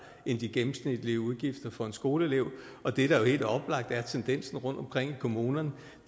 end de gennemsnitlige udgifter for en skoleelev og det der helt oplagt er tendensen rundtomkring i kommunerne